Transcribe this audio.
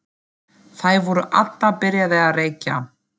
Þær voru allar byrjaðar að reykja.